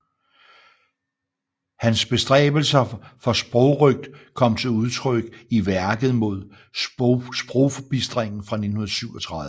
Hans bestræbelser for sprogrøgt kom til udtryk i værket Imod sprogforbistringen fra 1937